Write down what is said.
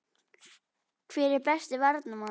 Hver er besti Varnarmaðurinn?